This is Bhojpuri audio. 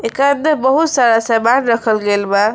कान में बहुत सारा सामान रखल गइल बा।